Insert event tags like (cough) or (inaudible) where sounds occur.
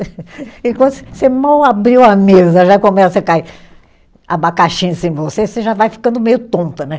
(laughs) Enquanto você mal abriu a mesa, já começa a cair abacaxi em cima de você, você já vai ficando meio tonta né.